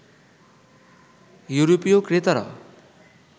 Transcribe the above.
ইউরোপীয় ক্রেতারা